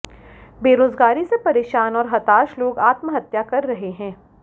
बेरोजगारी से परेशान और हताश लोग आत्महत्या कर रहे हैं